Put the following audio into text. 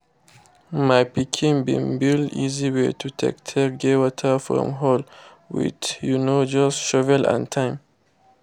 my pikin been build easy way to take take get water from hole with um just shovel and time